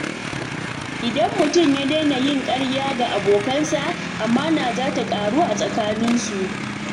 Idan mutum ya daina yin ƙarya ga abokinsa, amana za ta ƙaru a tsakaninsu.